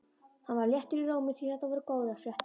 Hann var léttur í rómi því þetta voru góðar fréttir.